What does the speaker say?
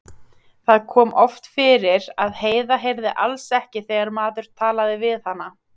Það kom oft fyrir að Heiða heyrði alls ekki þegar maður talaði við hana.